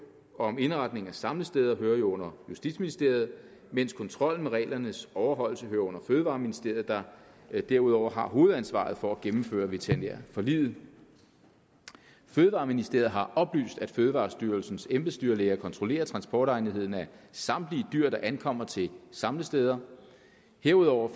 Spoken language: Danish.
og om indretning af samlesteder hører jo under justitsministeriet mens kontrollen med reglernes overholdelse hører under fødevareministeriet der derudover har hovedansvaret for at gennemføre veterinærforliget fødevareministeriet har oplyst at fødevarestyrelsens embedsdyrlæger kontrollerer transportegnetheden af samtlige dyr der ankommer til samlesteder herudover